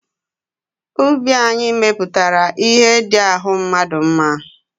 Ubi anyị mepụtara ihe ndị ahụ mmadụ mma.